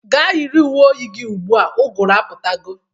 Ga yiri uwe oyi gi ugbu a! Ụgụrụ ebidogo.